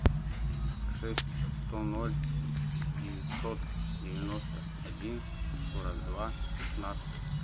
шесть сто ноль девятьсот девяносто один сорок два шестнадцать